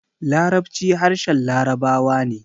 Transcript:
Larabci harshen labarawa ne